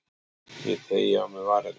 Ég teygi á mér varirnar.